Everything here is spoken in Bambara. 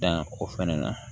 Dan o fana na